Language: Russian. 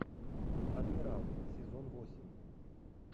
адмирал сезон восемь